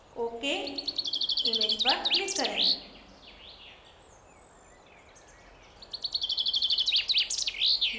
ok image पर click करें